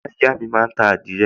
ìyáàyá mi máa ń ta àdìrẹ